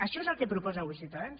això és el que proposa avui ciutadans